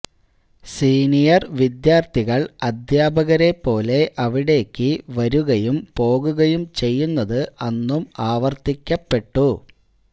senior വിദ്യാര്ത്ഥികൾ അദ്ധ്യാപകരെപ്പോലെ അവിടേക്കു വരുകയും പോകുകയും ചെയ്യുന്നത് അന്നും ആവർത്തിക്കപ്പെട്ടു